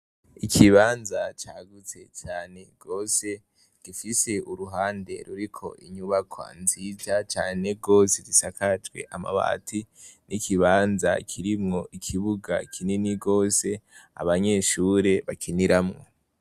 Ikibanza cagutse cane rwose gifise uruhande ruri ko inyubako nzirya cane rwose risakajwe amabati n'ikibanza kirimwo ikibuga kinini rwose abanyeshure bakiniramwo.